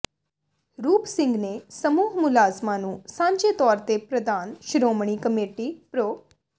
ਰੂਪ ਸਿੰਘ ਨੇ ਸਮੂਹ ਮੁਲਾਜ਼ਮਾਂ ਨੂੰ ਸਾਂਝੇ ਤੌਰ ਤੇ ਪ੍ਰਧਾਨ ਸ਼੍ਰੋਮਣੀ ਕਮੇਟੀ ਪ੍ਰੋ